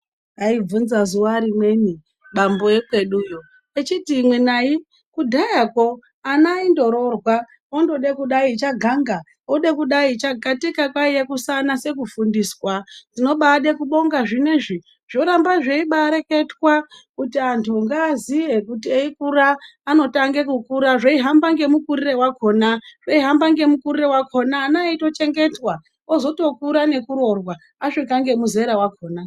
Aibvunza zuwa rimweni, bambo ekweduyo echiti,"Imwenayi kudhayakwo ana aindororwa. Ondode kudai chaganga ode kudai cha. Katika kwaiya kusanase kufundiswa. Ndinobaade ekubonga zvinezvi, zvoramba zveibaareketwa kuti anhu ngaaziye kuti eikura anotange kukura zveihamba ngemukurire wakhona .Zveihamba ngemukurire wakhona ana eitochengetwa, ozotokura nekuroorwa asvika ngemuzera wakhona.